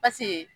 Paseke